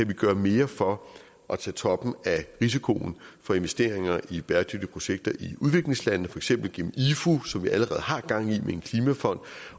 kan gøre mere for at tage toppen af risikoen for investeringer i bæredygtige projekter i udviklingslandene for eksempel gennem ifu som vi allerede har gang i med en klimafond